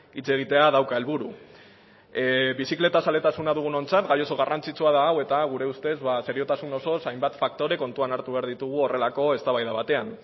hitz egitea dauka helburu bizikletaz zaletasuna dugunontzat gai oso garrantzitsua da hau eta gure ustez seriotasun osoz hainbat faktore kontuan hartu behar ditugu horrelako eztabaida batean